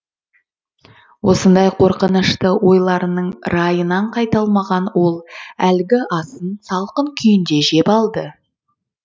осындай қорқынышты ойларының райынан қайта алмаған ол әлгі асын салқын күйінде жеп алды